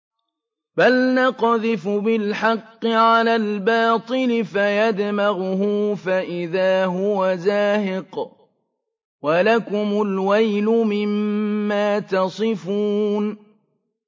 بَلْ نَقْذِفُ بِالْحَقِّ عَلَى الْبَاطِلِ فَيَدْمَغُهُ فَإِذَا هُوَ زَاهِقٌ ۚ وَلَكُمُ الْوَيْلُ مِمَّا تَصِفُونَ